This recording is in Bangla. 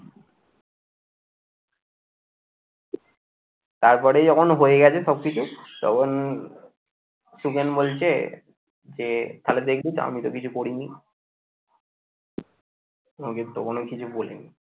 তারপরেই যখন হয়ে গেছে সব কিছু তখন সুখেন বলছে যে তাহলে দেখবি তো আমি তো কিছু করিনি তখনও কিছু বলিনি